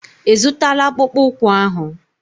Ị zụtala akpụkpụ ụkwụ ahụ?